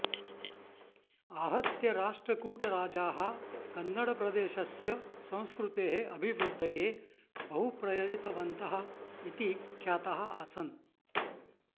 आहत्य राष्ट्रकूटराजाः कन्नडप्रदेशस्य संस्कृतेः अभिवृध्दये बहुप्रयतितवन्तः इति ख्याताः आसन्